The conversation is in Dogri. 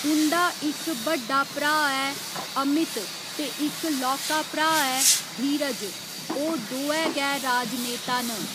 उं'दा इक बड्डा भ्राऽ ऐ अमित ते इक लौह्का भ्राऽ ऐ धीरज, ओह् दोऐ गै राजनेता न।